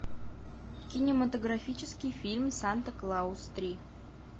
кинематографический фильм санта клаус три